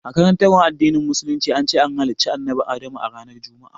A karantarwar addinin musulunci, an ce an halicci annabi Adamu a ranar Juma'a